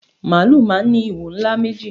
Màálù máà ń ní ìwo ńlá méjì